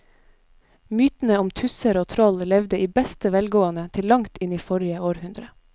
Mytene om tusser og troll levde i beste velgående til langt inn i forrige århundre.